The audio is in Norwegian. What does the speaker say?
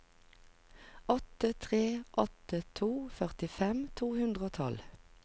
åtte tre åtte to førtifem to hundre og tolv